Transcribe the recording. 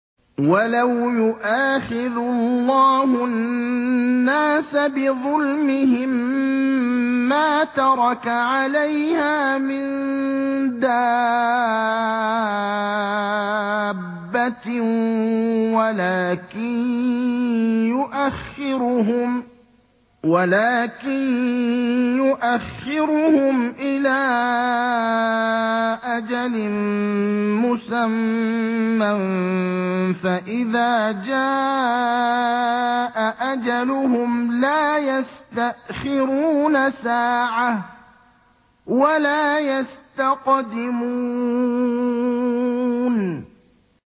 وَلَوْ يُؤَاخِذُ اللَّهُ النَّاسَ بِظُلْمِهِم مَّا تَرَكَ عَلَيْهَا مِن دَابَّةٍ وَلَٰكِن يُؤَخِّرُهُمْ إِلَىٰ أَجَلٍ مُّسَمًّى ۖ فَإِذَا جَاءَ أَجَلُهُمْ لَا يَسْتَأْخِرُونَ سَاعَةً ۖ وَلَا يَسْتَقْدِمُونَ